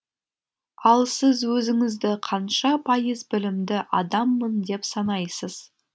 ал сіз өзіңізді қанша пайыз білімді адаммын деп санайсыз